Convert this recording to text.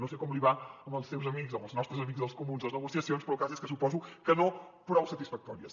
no sé com li van amb els seus amics amb els nostres amics dels comuns les negociacions però el cas és que suposo que no prou satisfactòries